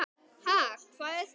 Ha, hvað er það?